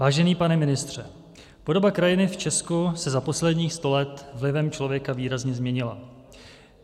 Vážený pane ministře, podoba krajiny v Česku se za posledních sto let vlivem člověka výrazně změnila.